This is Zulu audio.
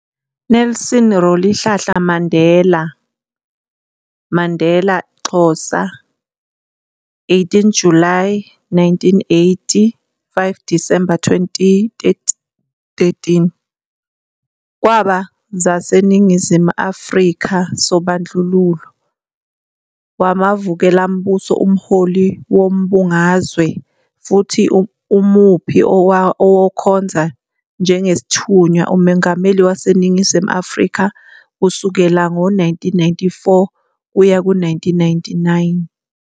Nelson Rolihlahla Mandela, Mandela, Xhosa, 18 Julayi 1918 - 5 Disemba 2013, kwaba zaseNingizimu Afrika sobandlululo wamavukelambuso, umholi wezombangazwe, futhi UMuphi owakhonza njengesithunywa uMongameli waseNingizimu Afrika kusukela ngo-1994 kuya 1999.